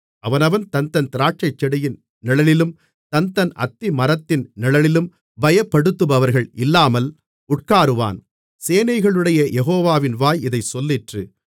அவனவன் தன்தன் திராட்சைச்செடியின் நிழலிலும் தன்தன் அத்திமரத்தின் நிழலிலும் பயப்படுத்துபவர்கள் இல்லாமல் உட்காருவான் சேனைகளுடைய யெகோவாவின் வாய் இதைச் சொல்லிற்று